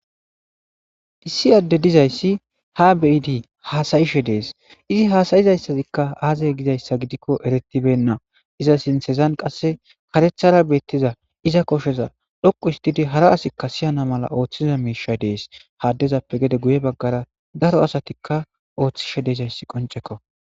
Issi adde dizaysi ha be'idi hasayashe de'es. Ii hasayizayisika aze gizaysa gidiko erethibena. Izza sinthazan qase karethara betiza izza kosheza dhoqu ostidi hara asika siyana mala otiza misha de'es. Ha adezapeka gede guye bagara daro asatika ootishe dizaysi konceko.